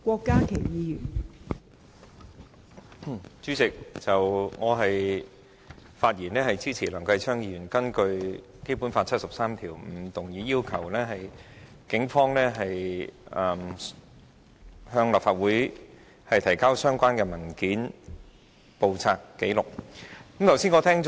代理主席，我發言支持梁繼昌議員根據《基本法》第七十三條動議議案，要求警方向立法會提交相關文件、簿冊或紀錄。